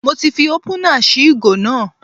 Mo ti fi ópúnà sí ìgò náà